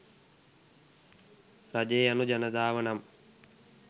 රජය යනු ජනතාව නම්